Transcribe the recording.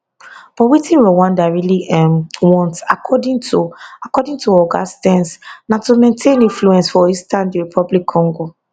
but wetin rwanda really um want according to according to oga stearns na to maintain influence for eastern dr congo